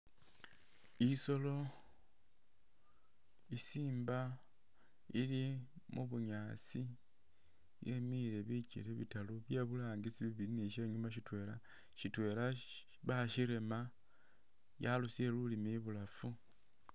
Isolo i'simba ili mu bunyaasi yemile bikele bitaru bye burangisi bibili ni sye inyuuma syitwela. Syitwela bashirema yarusile lulimi ibulafu.